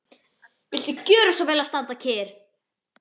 Og viltu gjöra svo vel að standa kyrr.